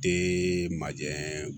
De majɛ